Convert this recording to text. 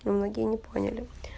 многие не поняли